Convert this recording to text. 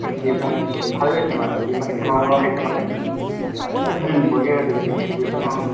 বনাইছো ভালে হৈছে মানে যিমানখিনি মানুহে খাইছে মানে অ to সেই বঢ়িয়া হৈছে বুলি কৈছে বুজিছানে নাই